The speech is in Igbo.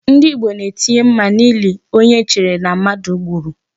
Ndị Igbo na-etinye mma n'ili onye e chere na mmadụ gburu.